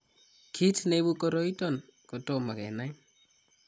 Kiit neibu koroiton kotomo kenai